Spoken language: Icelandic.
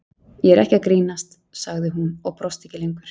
Ég er ekki að grínast, sagði hún og brosti ekki lengur.